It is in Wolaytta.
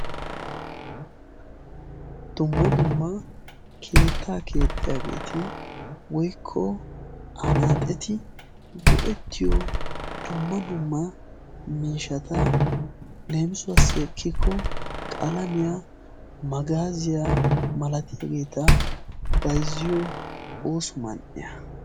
Dumma dumma keettaa keexxiyaageeti woykko anaaxeti go'ettiyo dumma dumma miishata leemisuwaassikikko qalamiyaa magaaziyaa malatiyaageeta bayzziyo ooso man"iyaa.